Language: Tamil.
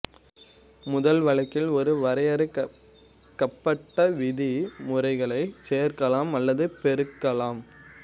முதல் வழக்கில் ஒரு வரையறுக்கப்பட்ட விதிமுறைகளைச் சேர்க்கலாம் அல்லது பெருக்கலாம்